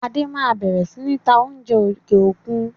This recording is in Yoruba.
Adé máa bẹ̀rẹ̀ sini ta oúnjẹ òkè òkun.